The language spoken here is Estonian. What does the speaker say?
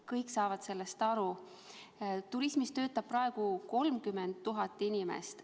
Kõik saavad sellest aru, turismisektoris töötab praegu 30 000 inimest.